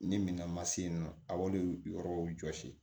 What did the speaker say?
Ni min ka ma se yen nɔ a b'olu yɔrɔw jɔsi